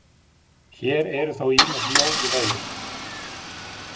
Hér eru þó ýmis ljón í veginum.